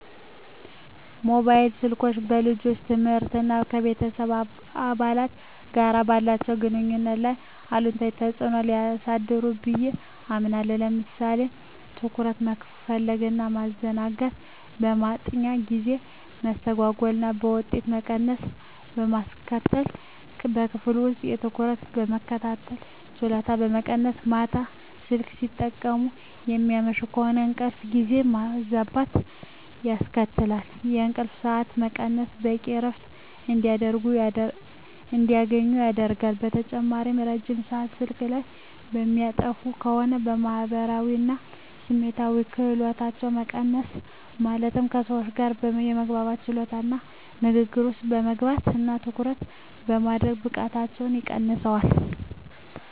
ሞባይል ስልኮች በልጆች ትምህርት እና ከቤተሰብ አባላት ጋር ባላቸው ግንኙነት ላይ አሉታዊ ተጽዕኖ ሊያሳድሩ ብየ አምናለሁ። ለምሳሌ ትኩረት መከፋፈል እና ማዘናጋት፣ የማጥኛ ጊዜ መስተጓጎል እና የውጤት መቀነስ በማስከትል፣ በክፍል ውስጥ በትኩረት የመከታተል ችሎታን በመቀነስ፣ ማታ ስልክ ሲጠቀሙ የሚያመሹ ከሆነ እንቅልፍ ጊዜን ማዛባት ያስከትላል፣ የእንቅልፍ ሰዓት መቀነስ በቂ እረፍት እንዳያገኙ ያደርጋል። በተጨማሪም ረጅም ሰአት ስልክ ላይ የሚያጠፉ ከሆነ የማህበራዊ እና ስሜታዊ ክህሎቶች መቀነስ ማለትም ከሰዎች ጋር የመግባባት ችሎታቸውን እና ንግግር ውስጥ የመግባት እና ትኩረት የማድረግ ብቃታቸውን ይቀንሰዋል።